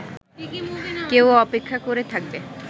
কেউ অপেক্ষা করে থাকবে